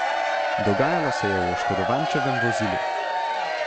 Dogajalo se je v oškodovančevem vozilu.